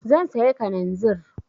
Zan sayi kananzir.